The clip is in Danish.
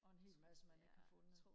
og en hel masse man ikke har fundet